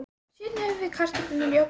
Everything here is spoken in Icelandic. Síðan höfum við kartöflurnar í ofninum í